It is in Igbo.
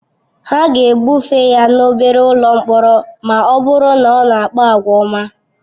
Ha ga-ebufe ya n'obere ụlọ mkpọrọ ma ọ bụrụ na ọ na-akpa àgwà ọma.